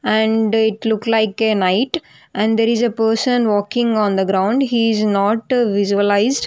And it look like a night and there is a person walking on the ground he is not visualised.